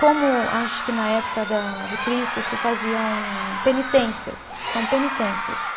Como acho que na época da, de Cristo se faziam penitências, são penitências.